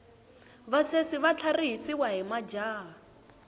vasesi va tlharihisiwa hi majaha